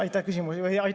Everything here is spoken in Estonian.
Aitäh küsimuse eest!